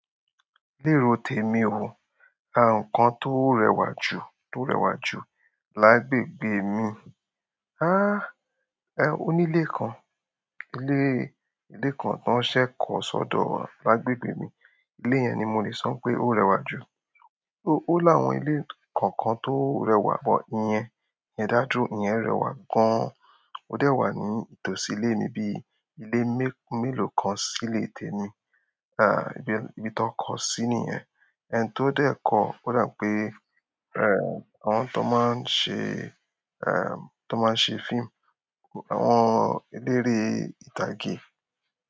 Lé ro tèmi o, à nǹkan tó rẹwà jù tó rẹwà jù lágbègbè mi. Háa! Ẹ óní lé kan, ilé ilé kan tán ṣẹ̀ kọ́ sọ́dọ̀ wa, lágbègbè mi. Ilé yẹn ni mo lè sọ wípé ó rẹwà jù. Ó lá wọn ilé kàn-ǹkan tí ó rẹwà but ìyẹn, dá dúró ìyẹn rẹwà gan. Ó dẹ̀ wà ní ìtòsí ilé mi bíi ilé mé- mélòó kan si lé e tèmi. À ibi, ibi tó kọ sí nì yẹn. Ẹni tó dẹ̀ kọ ó dà wípé, ẹ̀ àwọn tán ma ń ṣe, ẹ̀m tán ma ń ṣe fíìmù, àwọn eléré ìtàgé.